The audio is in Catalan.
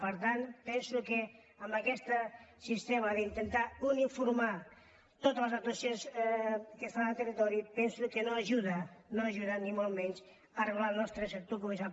per tant penso que aquest sistema d’intentar uniformar totes les actuacions que es fan al territori penso que no ajuda no ajuda ni de bon tros a regular el nostre sector comercial